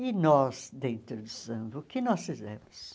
E nós, dentro do samba, o que nós fizemos?